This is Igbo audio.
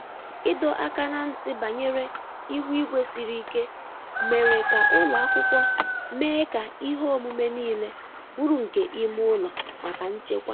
Ịdọ aka ná ntị banyere ihu igwe siri ike mere ka ụlọ akwụkwọ mee ka ihe omume niile bụrụ nke ime ụlọ maka nchekwa.